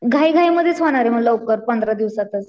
घाई घाई मधेच होणारे मग लवकर पंधरा दिवसातच.